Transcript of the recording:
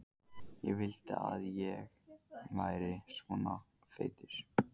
Ég vildi að ég væri ekki svona feitur.